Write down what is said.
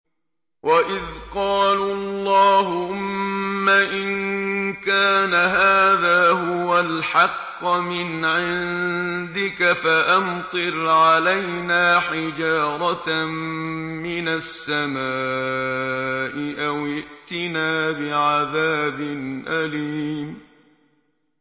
وَإِذْ قَالُوا اللَّهُمَّ إِن كَانَ هَٰذَا هُوَ الْحَقَّ مِنْ عِندِكَ فَأَمْطِرْ عَلَيْنَا حِجَارَةً مِّنَ السَّمَاءِ أَوِ ائْتِنَا بِعَذَابٍ أَلِيمٍ